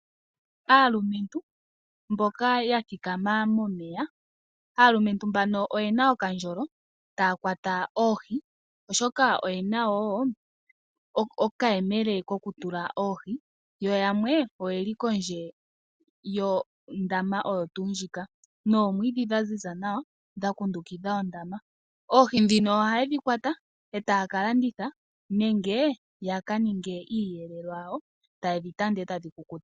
Aalumentu mboka ya thikama momeya. Aalumentu mbano oyena okandjolo taya kwata oohi oshoka oyena wo okayemele ko kutula oohi, yo yamwe oyeli kondje yondama oyo tu ndjika nomwidhi dha ziza nawa dhaku ndukudha ondama. Oohi dhino ohaye dhi kwata etaya ka landitha nenge ya kaninge iiyelelwa yawo taye dhi tanda etadhi kukuta.